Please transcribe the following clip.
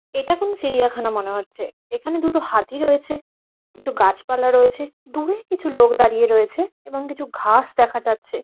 এটা কোনো চিড়িয়াখানা মনে হচ্ছে। এখানে দুটো হাতি রয়েছে কিছু গাছপালা রয়েছে দূরে কিছু লোক দাঁড়িয়ে রয়েছে এবং কিছু ঘাস দেখা যাচ্ছে।